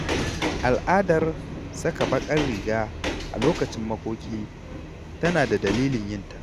Al’adar saka baƙar riga a lokacin makoki tana da dalilin yinta.